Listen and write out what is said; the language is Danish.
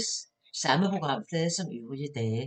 Samme programflade som øvrige dage